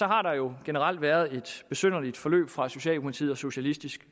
har der jo generelt været et besynderligt forløb fra socialdemokratiet og socialistisk